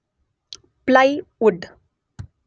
plywood